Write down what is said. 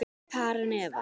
Karen Eva.